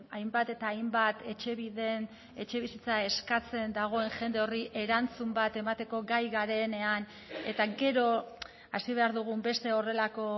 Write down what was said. hainbat eta hainbat etxebiden etxebizitza eskatzen dagoen jende horri erantzun bat emateko gai garenean eta gero hasi behar dugun beste horrelako